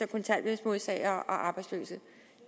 kontanthjælpsmodtagere og arbejdsløse